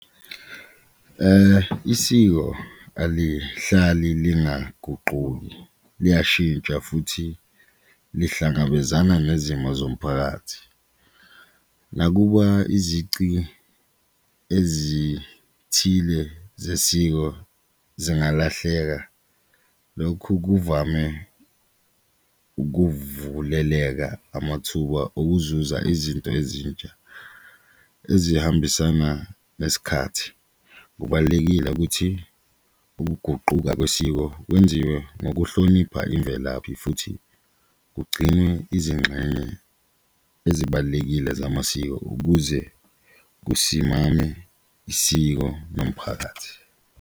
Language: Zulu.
Isiko alihlali lingaguquki liyashintsha futhi lihlangabezana nezimo zomphakathi nakuba izici ezithile zesiko zingalahleka, lokhu kuvame ukuvuleleka amathuba okuzuza izinto ezintsha ezihambisana nesikhathi. Kubalulekile ukuthi ukuguquka kwesiko kwenziwe ngokuhlonipha imvelaphi futhi kugcinwe izingxenye ezibalulekile zamasiko ukuze usimame isiko nomphakathi.